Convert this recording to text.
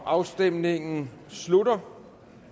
afstemningen slutter